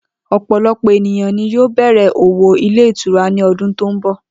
O̩pò̩lo̩pò̩ ènìyàn ni yóò bè̩rè̩ òwò ilé ìtura ní o̩dún tó ń bò̩